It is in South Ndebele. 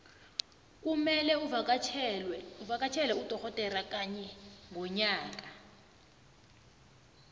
kumelwe uvakatjhele udogodera kanye ngonyaka